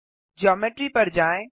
geometry पर जाएँ